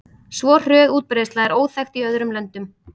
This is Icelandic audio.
Svo hröð útbreiðsla er óþekkt í öðrum löndum.